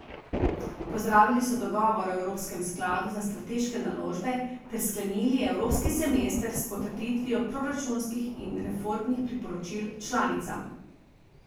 Pozdravili so dogovor o evropskem skladu za strateške naložbe ter sklenili evropski semester s potrditvijo proračunskih in reformnih priporočil članicam.